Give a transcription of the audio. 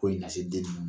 Foyi lase den ma